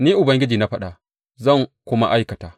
Ni Ubangiji na faɗa, zan kuma aikata.